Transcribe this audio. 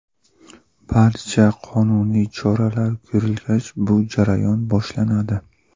Barcha qonuniy choralar ko‘rilgach, bu jarayon boshlanadi.